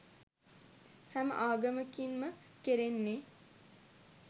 හැම ආගමකින් ම කෙරෙන්නේ